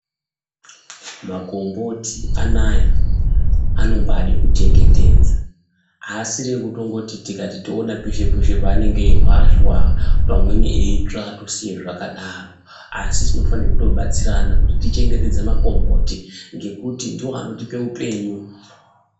Makomboti anaya anombade kuchengetedza haasiri ekutongoti tikati toona peshe-peshe panenge eihwashwa, pamweni eitswa tosiye zvakadaro. Asi tinofanira kutobatsirana kuti tichengetedze makomboti ngekuti ndivo anotipe upenyu